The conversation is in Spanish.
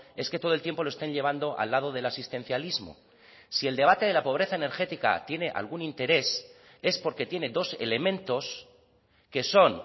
es que todo el tiempo lo estén llevando al lado del asistencialismo si el debate de la pobreza energética tiene algún interés es porque tiene dos elementos que son